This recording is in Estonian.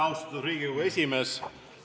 Austatud Riigikogu esimees!